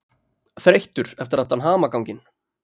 Þreyttur eftir allan hamaganginn.